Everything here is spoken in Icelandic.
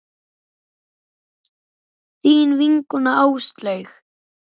Þín vinkona Áslaug.